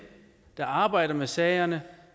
der arbejder med sagerne